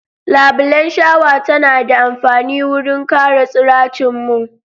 Labulan shawa tana da amfani wurin kare tsiracin mun.